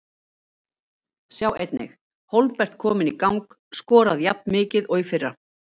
Sjá einnig: Hólmbert kominn í gang- Skorað jafnmikið og í fyrra